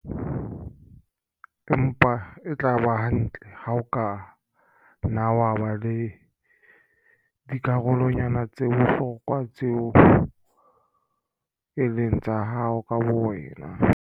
Empa e tla ba hantle ha o ka nna wa ba le dikarolwana tsa bohlokwa tseo e leng tsa hao ka bowena.